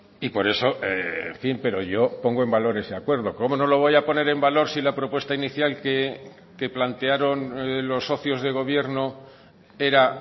y por eso en fin pero yo pongo en valor ese acuerdo cómo no lo voy a poner en valor si la propuesta inicial que plantearon los socios de gobierno era